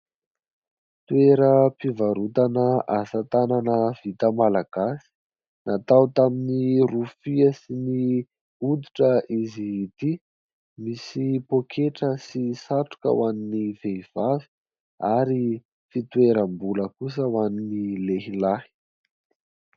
Toeram-pivarotana asa tanana vita Malagasy. Natao tamin'ny rofia sy ny hoditra izy ity. Misy pôketra sy satroka ho an'ny vehivavy ary fitoeram-bola kosa ho an'ny lehilahy.